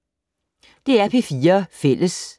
DR P4 Fælles